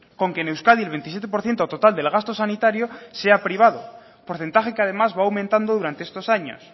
con que en euskadi el veintisiete por ciento total del gasto sanitario sea privado porcentaje que además va aumentando durante estos años